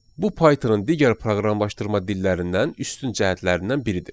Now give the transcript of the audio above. Bu Pythonun digər proqramlaşdırma dillərindən üstün cəhətlərindən biridir.